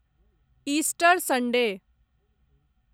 Easter Sunday